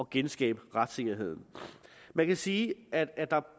genskabe retssikkerheden man kan sige at der er